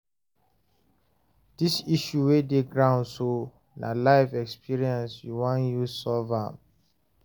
this issue wey dey ground so, na life experiences u wan use solve am?